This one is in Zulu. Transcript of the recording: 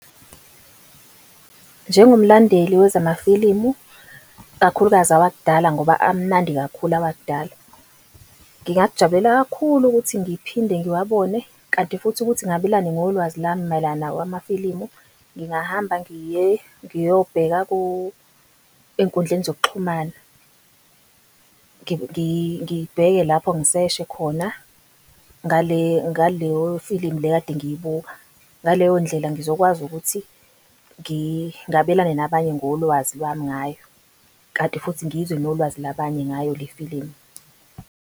Njengomlandeli wezama filimu, kakhulukazi awakudala, ngoba amnandi kakhulu awakudala. Ngingakujabulela kakhulu ukuthi ngiphinde ngiwabone, kanti futhi ukuthi ngabelane ngolwazi lami mayelana nawo amafilimu, ngingahamba ngiyobheka ey'nkundleni zokuxhumana, ngibheke lapho ngiseshe khona ngaleyo filimu le kade ngiyibuka. Ngaleyo ndlela ngizokwazi ukuthi ngabelane nabanye ngolwazi lwami ngayo, kanti futhi ngizwe nolwazi labanye ngayo le filimu.